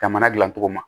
Jamana dilancogo ma